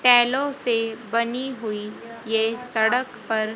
टाइलों से बनी हुई यह सड़क पर--